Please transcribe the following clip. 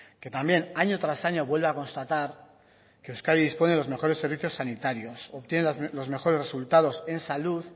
que también año tras año vuelve a constatar que euskadi dispone de los mejores servicios sanitarios obtiene los mejores resultados en salud